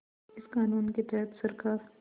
इस क़ानून के तहत सरकार